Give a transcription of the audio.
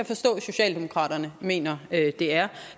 forstå at socialdemokratiet mener at de er